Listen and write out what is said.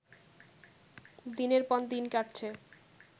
দিনের পর দিন কাটছে